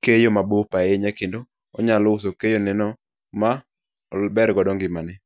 keyo mabup ahinya kendo onyalo uso keyoneno ober go ngimane.